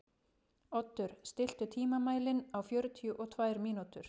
Oddur, stilltu tímamælinn á fjörutíu og tvær mínútur.